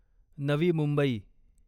Navi Mumbai